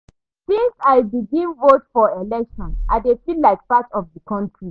Since I begin vote for election, I dey feel like part of di country.